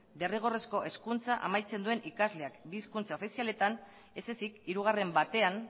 derrigorrezko hezkuntza amaitzen duen ikasleak bi hizkuntza ofizialetan ez ezik hirugarren batean